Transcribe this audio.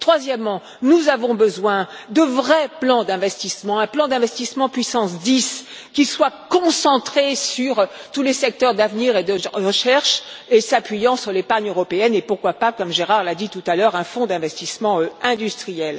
Troisièmement, nous avons besoin d'un vrai plan d'investissement, un plan d'investissement puissance 10, qui soit concentré sur tous les secteurs d'avenir et de recherche et qui s'appuie sur l'épargne européenne et, pourquoi pas, comme Gérard Deprez l'a dit tout à l'heure, un fonds d'investissement industriel.